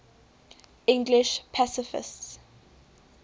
english pacifists